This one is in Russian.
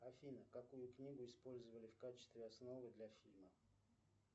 афина какую книгу использовали в качестве основы для фильма